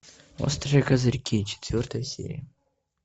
острые козырьки четвертая серия